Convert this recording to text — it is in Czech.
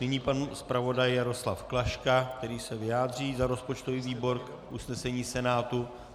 Nyní pan zpravodaj Jaroslav Klaška, který se vyjádří za rozpočtový výbor k usnesení Senátu.